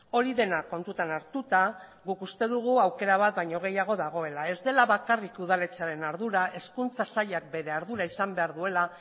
hori dena kontutan hartuta guk uste dugu aukera bat baino gehiago dagoela ez dela bakarrik udaletxearen ardura hezkuntza sailak bere ardura izan behar duela